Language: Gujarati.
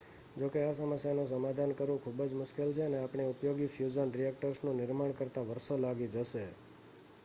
જોકે આ સમસ્યાનું સમાધાન કરવું ખૂબ જ મુશ્કેલ છે અને આપણે ઉપયોગી ફ્યુઝન રિએક્ટર્સ નું નિર્માણ કરતા વર્ષો લાગી જશે